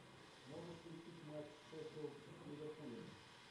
можешь включить матч шеффилд с ливерпулем